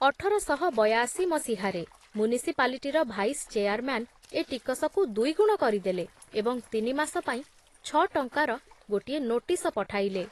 ଅଠର ଶହ ବୟାଅଶି ମସିହାରେ ମ୍ୟୁନିସିପାଲିଟିର ଭାଇସ ଚେୟାରମ୍ୟାନ ଏ ଟିକସକୁ ଦୁଇଗୁଣ କରିଦେଲେ ଏବଂ ତିନିମାସ ପାଇଁ ଛ ଟଙ୍କାର ଗୋଟିଏ ନୋଟିସ ପଠାଇଲେ ।